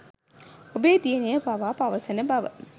ඔබේ දියණිය පවා පවසන බව